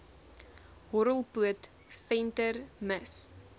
horrelpoot venter mis